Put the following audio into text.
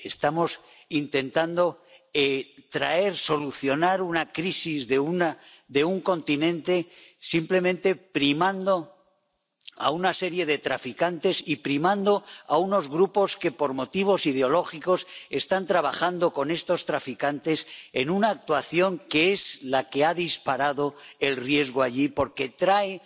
Estamos intentando solucionar una crisis de un continente simplemente primando a una serie de traficantes y primando a unos grupos que, por motivos ideológicos, están trabajando con estos traficantes, en una actuación que es la que ha disparado el riesgo allí, porque trae